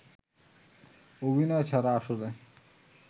অভিনয় ছাড়া আসলে